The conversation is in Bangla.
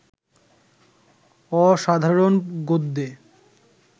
অসাধারণ গদ্যে